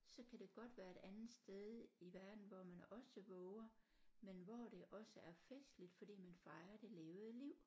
Så kan det godt være et andet sted i verden hvor man også våger men hvor det også er festligt fordi man fejrer det levede liv